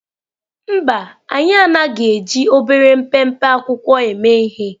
Mba, anyị anaghị eji obere mpempe akwụkwọ eme ihe.